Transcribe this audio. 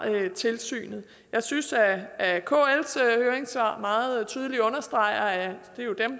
tilsynet jeg synes at kls høringssvar meget tydeligt understreger